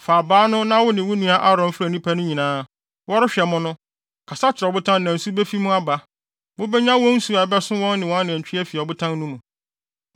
“Fa abaa no na wo ne wo nua Aaron mfrɛ nnipa no nyinaa. Wɔrehwɛ mo no, kasa kyerɛ ɔbotan no na nsu befi mu aba. Mubenya wɔn nsu a ɛbɛso wɔn ne wɔn anantwi afi ɔbotan no mu!”